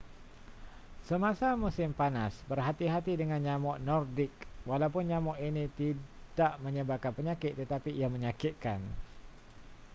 semasa musim panas berhati-hati dengan nyamuk nordic walaupun nyamuk ini tidak menyebarkan penyakit tetapi ia menyakitkan